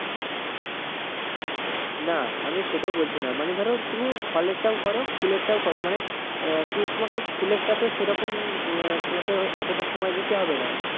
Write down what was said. না আমি সেটাও বলছিনা মানে ধরো তুমি ফলের টাও করো ফুলের টাও করো মানে আহ কি তোমাকে ফুলের টাতে সেরকম আহ তোমাকে অতটা সময় দিতে হবে না